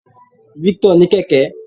Victor ní kẹ̀kẹ́.